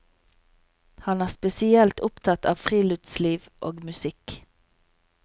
Han er spesielt opptatt av friluftsliv og musikk.